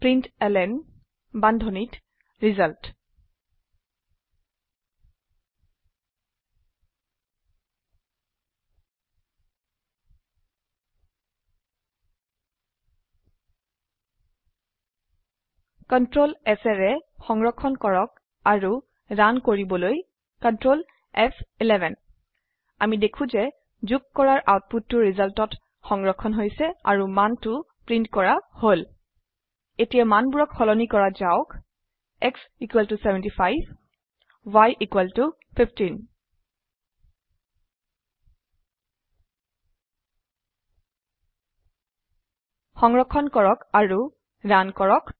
println বান্ধনীত result control S সংৰক্ষন কৰক আৰু ৰান কৰিবলৈ কন্ট্ৰল ফ11 আমি দেখো যে যোগ কৰাৰ আউটপুটটো resultত সংৰক্ষন হৈছে আৰু মান টো প্ৰীন্ট কৰা হল এতিয়া মানবোৰক সলনি কৰা যাওক x75y 15 সংৰক্ষণ কৰক আৰু ৰান কৰক